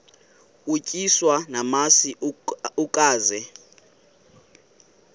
utyiswa namasi ukaze